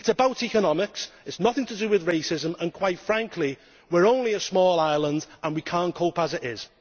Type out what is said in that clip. It is about economics, it is nothing to do with racism and, quite frankly, we are only a small island and we cannot cope as it is.